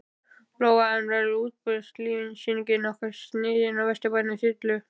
Lóa: En verður útboðslýsingin nokkuð sniðin að vestrænum þyrlum?